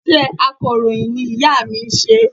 Iṣẹ́ akọ̀ròyìn ni ìya mi n se